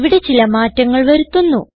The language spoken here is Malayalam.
ഇവിടെ ചില മാറ്റങ്ങൾ വരുത്തുന്നു